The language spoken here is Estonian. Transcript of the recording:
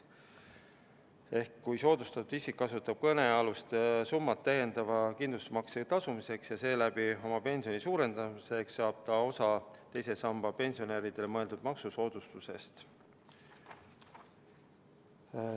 Ehk kui soodustatud isik kasutab kõnealust summat täiendava kindlustusmakse tasumiseks ja seeläbi oma pensioni suurendamiseks, saab ta osa teise samba pensionäridele mõeldud maksusoodustusest.